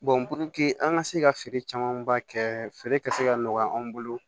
an ka se ka feere camanba kɛ feere ka se ka nɔgɔya anw bolo